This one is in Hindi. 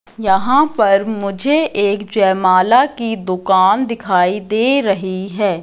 यहां पर मुझे एक जयमाला की दुकान दिखाई दे रही है।